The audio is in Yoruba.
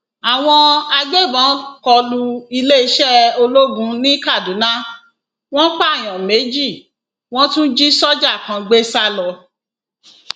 àwọn agbébọn kọ lu iléeṣẹ ológun ní kaduna wọn pààyàn méjì wọn tún jí sójà kan gbé sá lọ